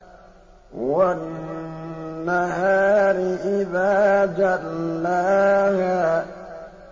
وَالنَّهَارِ إِذَا جَلَّاهَا